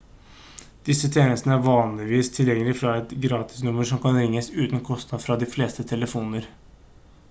disse tjenestene er vanligvis tilgjengelig fra et gratisnummer som kan ringes uten kostnad fra de fleste telefoner